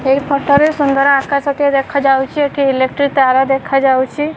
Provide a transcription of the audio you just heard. ଏଇ ଫଟୋ ରେ ସୁନ୍ଦର ଆକାଶ ଟିଏ ଦେଖାଯାଉଚି ଏଠି ଇଲେକ୍ଟ୍ରି ତାର ଦେଖାଯାଉଚି।